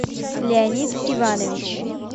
леонид иванович